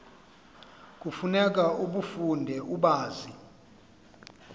kufuneka ubafunde ubazi